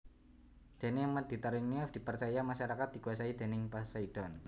Dene Mediterania dipercaya masyarakat dikuasai déning Poseidon